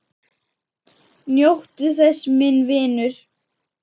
Njóttu þess, minn vinur.